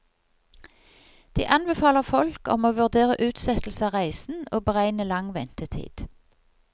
De anbefaler folk om å vurdere utsettelse av reisen, og beregne lang ventetid.